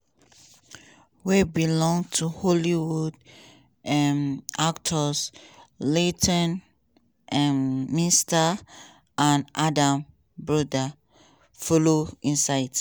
wey belong to hollywood um actors leighton um meester and adam brody follow inside.